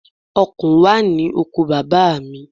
Ọ̀kùn wà ní oko bàbá à mi.